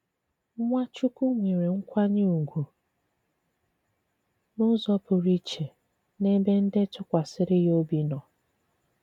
Nwàchùkwù nwèrè nkwànyè ùgwù n’ùzò pụrụ ìchè n’èbè ndị tụkwàsìri yà òbì nò.